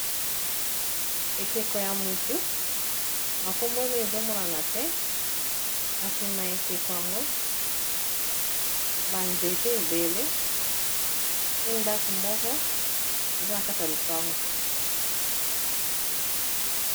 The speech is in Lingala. Ekeko ya motu ba kombo ezomonana te na sima ya ekeko yango ba nzete ebele pe ndako moko eza na kati ya lopango.